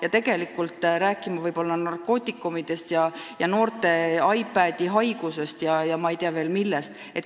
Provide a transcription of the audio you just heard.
Ei pea nii palju rääkima narkootikumidest ja noorte iPadi-haigusest ja ma ei tea, millest veel.